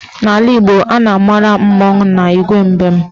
N'ala Igbo, a na-amara mmọnwụ na Igwe mbem